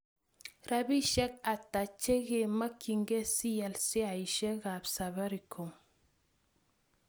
Rabisyek ata che makykinigei sial sheasiekap Safaricom